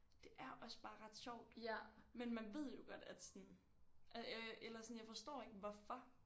Det er også bare ret sjovt. Men man ved jo godt at sådan øh eller sådan jeg forstår ikke hvorfor